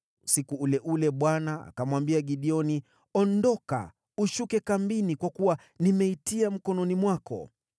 Usiku ule ule Bwana akamwambia Gideoni, “Ondoka, ushuke kambini, kwa kuwa nimeitia mkononi mwako.